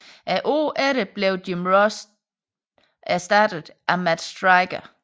Året efter blev Jim Ross dog erstattet af Matt Striker